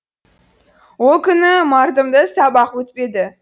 ол күні мардымды сабақ өтпеді